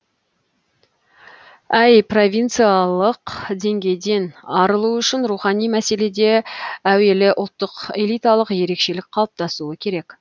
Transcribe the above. әй провинцалық деңгейден арылу үшін рухани мәселеде әуелі ұлттық элиталық ерекшелік қалыптасуы керек